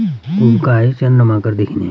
उन्का देखनी।